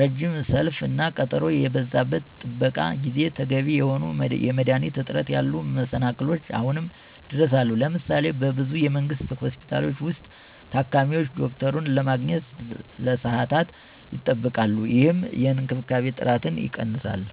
ረጅም ሰልፍ እና ቀጠሮ የበዛበት የጥበቃ ጊዜ፣ ተገቢ የሆኑ የመድኃኒት እጥረት ያሉ መሰላክሎች አሁንም ድረስ አሉ። ለምሳሌ:- በብዙ የመንግስት ሆስፒታሎች ውስጥ, ታካሚዎች ዶክተሩን ለማግኘት ለሰዓታት ይጠብቃሉ, ይህም የእንክብካቤ ጥራትን ይቀንሳል።